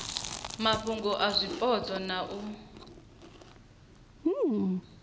mafhungo a zwipotso na u